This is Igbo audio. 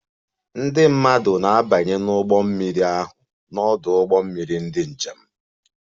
Ndị mmadụ na-abanye n'ụgbọ mmiri ahụ n'ọdụ ụgbọ mmiri ndị njem